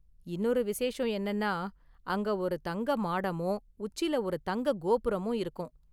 இன்னொரு விசேஷம் என்னென்னா, அங்க ஒரு தங்க மாடமும் உச்சில ஒரு தங்க கோபுரமும் இருக்கும்.